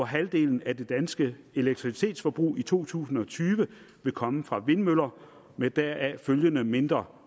halvdelen af den danske elektricitetsproduktion i to tusind og tyve vil komme fra vindmøller med deraf følgende mindre